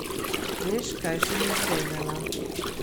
Veš, kaj sem izvedela?